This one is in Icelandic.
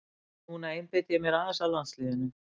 Núna einbeiti ég mér aðeins að landsliðinu.